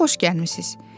Amma xoş gəlmisiz.